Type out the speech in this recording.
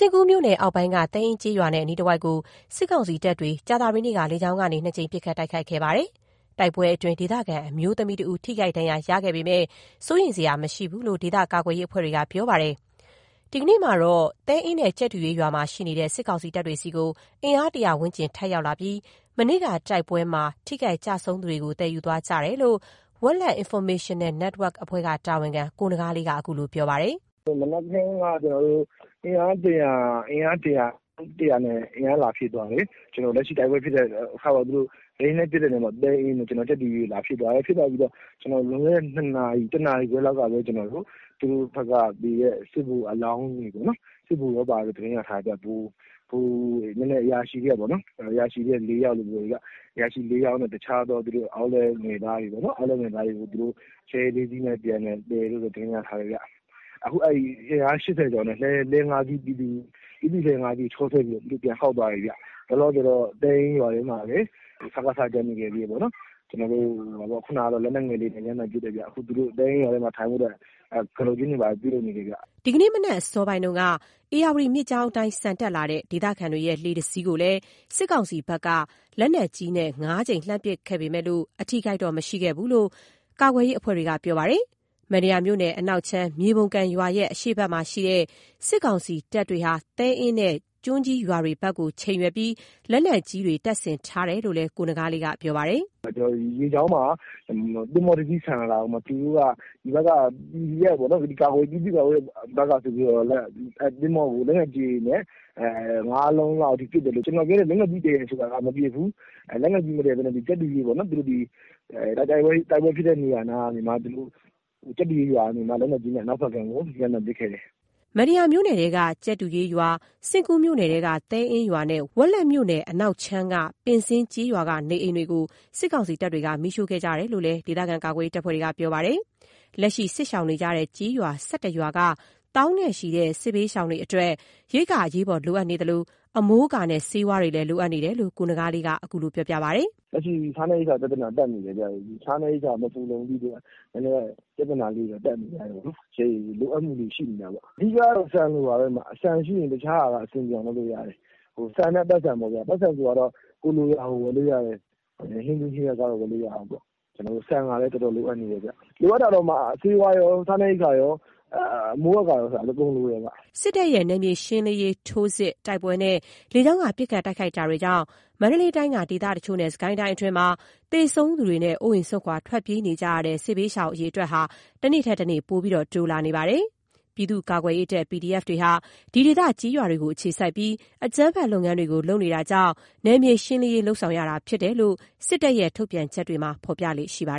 ဉ့်ကူးမြို့နယ်အောက်ပိုင်းက သဲအင်းကျေးရွာနဲ့ အနီးတဝိုက်ကို စစ်ကောင်စီတပ်တွေ ကြာသပတေးနေ့က လေကြောင်းကနေ ၂ ကြိမ် ပစ်ခတ်တိုက်ခိုက်ခဲ့ပါတယ်။ တိုက်ပွဲတွေအတွင်း ဒေသခံ အမျိုးသမီးတစ်ဦး ထိခိုက်ဒဏ်ရာရခဲ့ပေမဲ့ စိုးရိမ်စရာမရှိဘူးလို့ ဒေသကာကွယ်ရေး အဖွဲ့တွေကပြောပါတယ်။ ဒီကနေ့မှာတော့ သဲအင်းနဲ့ကြက်တူရွေးရွာမှာ ရှိနေတဲ့ စစ်ကောင်စီတပ်တွေဆီကို အင်အား ၁၀၀ ဝန်းကျင် ထပ်ရောက်လာပြီး မနေ့က တိုက်ပွဲမှာ ထိခိုက်ကျဆုံးသူတွေကို သယ်ယူသွားကြတယ်လို့ Wetlet Informational Network က တာဝန်ခံ ကိုနဂါးလေးက ခုလိုပြောပါတယ်။ “မနက်ခင်းက အင်အား ၁၀၀ လောက်နဲ့ အင်အား လာဖြည့်သွားတယ်။ လက်ရှိတိုက်ပွဲဖြစ်ခဲ့တဲ့၊ လေယာဉ်နဲ့ လာပစ်တဲ့ သဲအင်းတို့ ကြက်တူရွေးတို့ဖက်မှာ လာဖြည့်သွားတယ်။ ဖြည့်သွားပြီးတော့ ၁ နာရီခွဲလောက်ကပဲ သူတို့ဖက်က သေတဲ့ စစ်ဗိုလ်အလောင်းတွေပေါ့နော်၊ စစ်ဗိုလ်တွေပါတဲ့လို့ သတင်းရထားတယ်ဗျ၊ ဗိုလ်တွေ အရာရှိတွေထဲက ၄ ယောက်လို့ပြောတယ်ဗျ။ ပြီးတော့ တခြားသော လက်အောက်ငယ်သားတွေပေါ့နော်၊ အဲ့ဒါတွေကို သူတို့ လှည်း ၅ စီးနဲ့ပြန်သယ်သွားတယ်လို့တော့ သတင်းရထားတယ်ဗျ။ အခု သူတို့ အင်အား ၈၀ ကျော်နဲ့ လှည်း ၅ စီးနဲ့ သူတို့ ပြည်သူ့လှည်း ၅ စီးကို ချောဆွဲပြီးတော့ သူတို့ ပြန်ခေါက်သွားတယ်ဗျ။ လောလောဆယ်တော့ သဲအင်းရွာထဲမှာလည်း စကစ တချို့ ကျန်နေခဲ့သေးတယ်ပေါ့နော်။ ခုဏကတော့ လက်နက်ငယ်လေးတွေနဲ့ ရမ်းသမ်းပစ်တယ်ဗျ။ သူတို့ သဲအင်းရွာထဲမှာ နေဖို့အတွက် ကတုတ်ကျင်းတွေ တူးနေတယ်ဗျ။” ဒီနေ့ မနက်အစောပိုင်းတုန်းက ဧရာဝတီမြစ်ကြောင်းအတိုင်း ဆန်တက်လာတဲ့ ဒေသခံတွေရဲ့ လှေတစ်စီးကိုလည်း စစ်ကောင်စီဖက်က လက်နက်ကြီးနဲ့ ၅ ကြိမ် လှမ်းပစ်ခတ်ခဲ့ပေမဲ့ အထိအခိုက်တော့ မရှိခဲ့ဘူးလို့ ကာကွယ်ရေး အဖွဲ့တွေက ဆိုပါတယ်။ မတ္တရာမြို့နယ် အနောက်ခြမ်း မြွေပုံကန်ရွာရဲ့ အရှေ့ဖက်မှာရှိတဲ့ စစ်ကောင်စီတပ်တွေက သဲအင်းနဲ့ ကျွန်းကြီးရွာတွေဖက်ကို ချိန်ရွယ်ပြီး လက်နက်ကြီးတွေ တပ်ဆင်ထားတယ်လို့ ကိုနဂါးလေးက ပြောပါတယ်။ “မြစ်ကြောင်းမှာ သင်္ဘောတစ်စီး ဆန်လာတာကို သူတို့က ပြည်သူ့ကာကွယ်ရေးဖက်က သင်္ဘောထင်ပြီးတော့ လက်နက်ကြီးတွေနဲ့ ၅ လုံးလောက်ပစ်တယ်။ ကျွန်တော်ပြောတဲ့ လက်နက်ကြီးတည်တာကတော့ မပစ်ဘူး၊ လက်နက်ကြီးမတည်ထားပဲနဲ့ ကြက်တူရွေးပေါ့နော် ဒီတိုက်ပွဲဖြစ်တဲ့ နေရာနားကနေမှ အနောက်ဖက်ကမ်းကို ရမ်းသမ်းပစ်ခဲ့တယ်။” မတ္တရာမြို့နယ်ထဲက ကြက်တူရွေးရွာ၊ စဉ့်ကူးမြို့နယ်ထဲက သဲအင်းရွာနဲ့ ဝက်လက်မြို့နယ်က အနောက်ခြမ်းက ပင်းဇင်း ကျေးရွာက နေအိမ်တွေကို စစ်ကောင်စီတပ်တွေက မီးရှို့ခဲ့ကြတယ်လို့လည်း ဒေသကာကွယ်ရေးအဖွဲ့တွေကပြောပါတယ်။ လက်ရှိစစ်ရှောင်နေကြရတဲ့ ကျေးရွာ ၁၁ ရွာက သောင်းနဲ့ချီတဲ့ စစ်ဘေးရှောင်တွေအတွက် ရိက္ခာအရေးပေါ်လိုအပ်နေသလို အမိုးအကာနဲ့ ဆေးဝါးတွေလည်း လိုအပ်နေကြတယ်လို့ ကိုနဂါးလေးက ခုလိုပြောပါတယ်။ “လက်ရှိစားနပ်ရိက္ခာပြဿနာတက်နေတယ်ဗျ၊ စားနပ်ရိက္ခာ မဖူလုံတဲ့အတွက် နည်းနည်း ပြဿနာလေးတွေတော့ တက်နေကြတယ်ပေါ့။ လိုအပ်မှုလေးတွေ ရှိနေတာပေါ့။ အဓိကက ဆန်လိုနေတာ၊ ဆန်ရှိရင် တခြားဟာက အဆင်ပြေအောင်လုပ်လို့ရတယ်။ ဆန်နဲ့ ပိုက်ဆံပေါ့ဗျာ။ ပိုက်ဆံဆိုတာကတော့ ကိုယ်လိုရာကို ဝယ်လို့ရတယ်။ ဟင်းသီးဟင်းရွက်ကစ ဝယ်ဖို့လိုတာပေါ့။ ဆန်ကတော့ တော်တော်လိုအပ်နေတယ်ဗျ။ လိုအပ်တာကတော့ ဆေးဝါးရော စားနပ်ရိက္ခာရော အမိုးအကာရော အကုန်လိုတယ်ဗျ။” စစ်တပ်ရဲ့ နယ်မြေရှင်းလင်းရေး ထိုးစစ်၊ တိုက်ပွဲတွေနဲ့ လေကြောင်းက ပစ်ခတ်တိုက်ခိုက်မှုတွေကြောင့် မန္တလေးတိုင်းက ဒေသတချို့နဲ့ စစ်ကိုင်းတိုင်းအတွင်းမှာ သေဆုံးသူတွေနဲ့ အိုးအိမ် စွန့်ခွာ ထွက်ပြေးနေကြရတဲ့ စစ်ဘေးရှောင် အရေအတွက်ဟာ တနေ့ထက်တနေ့ ပိုပြီး တိုးလာနေပါတယ်။ ပြည်သူ့ကာကွယ်ရေးတပ် PDF တွေဟာ ဒီဒေသ ကျေးရွာတွေကို အခြေစိုက်ပြီး အကြမ်းဖက် လုပ်ငန်းတွေ လုပ်နေတာကြောင့် နယ်မြေရှင်းလင်းရေးလုပ်နေတာဖြစ်တယ်လို့ စစ်တပ်ရဲ့ ထုတ်ပြန်ချက်တွေမှာ ဖော်ပြလေ့ရှိပါ